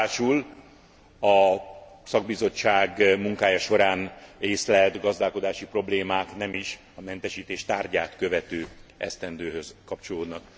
Ráadásul a szakbizottság munkája során észlelt gazdálkodási problémák nem is a mentesítés tárgyát követő esztendőhöz kapcsolódnak.